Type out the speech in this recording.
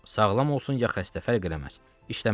sağlam olsun ya xəstə fərq eləməz, işləməlidir.